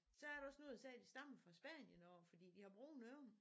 Så er der også nogle der siger de stammer fra Spanien af fordi de har brune øjne